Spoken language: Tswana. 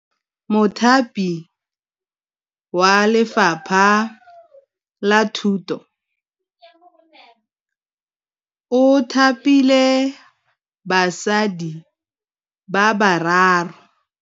Mothapi wa Lefapha la Thutô o thapile basadi ba ba raro.